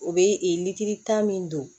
U bɛ litiri tan min don